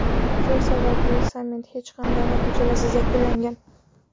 Shu sababli sammit hech qanday natijalarsiz yakunlangan.